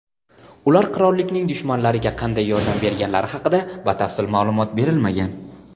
Ular qirollikning "dushmanlari"ga qanday yordam berganlari haqida batafsil ma’lumot berilmagan.